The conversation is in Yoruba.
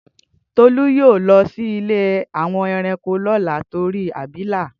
Tolú yóò lọ sí ilé àwọn ẹranko lọla tori abilà